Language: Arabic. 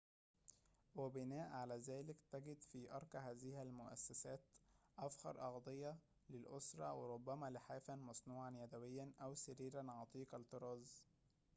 وبناءً على ذلك تجد في أرقى هذه المؤسّسات أفخر أغطية للأسرّة وربما لحافاً مصنوعاً يدويّاً أو سريراً عتيق الطّراز